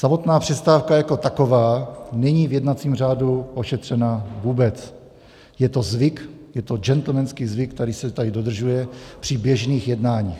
Samotná přestávka jako taková není v jednacím řádu ošetřena vůbec, je to zvyk, je to gentlemanský zvyk, který se tady dodržuje při běžných jednáních.